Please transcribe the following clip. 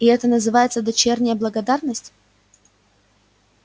и это называется дочерняя благодарность